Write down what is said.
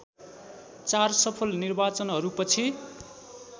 चार सफल निर्वाचनहरूपछि